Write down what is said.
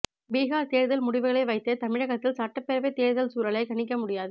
பீகார் தேர்தல் முடிவுகளை வைத்து தமிழகத்தில் சட்டப்பேரவை தேர்தல் சூழலை கணிக்க முடியாது